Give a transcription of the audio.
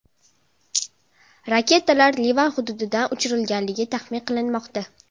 Raketalar Livan hududidan uchirilganligi taxmin qilinmoqda.